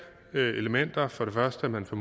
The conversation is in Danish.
elementer det er for det første at man får